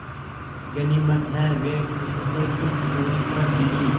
गनीमत है वे उससे कुछ दूरी पर गिरीं